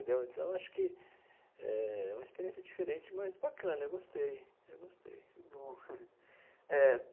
Entendeu então, acho que é uma experiência diferente, mas bacana, eu gostei, eu gostei. Que bom é.